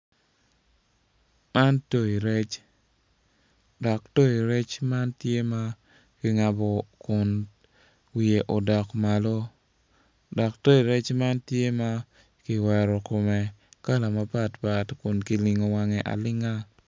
Man toyo rec dok toyo rec man tye makingabo kun wiye odok malo, dok toyo rec man tye ma kiwero kome kala mapat pat kun kilingo wange alinga.